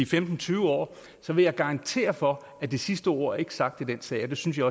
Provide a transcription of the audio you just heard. femten tyve år så vil jeg garantere for at det sidste ord ikke er sagt i denne sag og det synes jeg